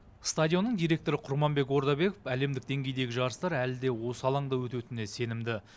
стадионның директоры құрманбек ордабеков әлемдік деңгейдегі жарыстар әлі де осы алаңда өтетініне сенімді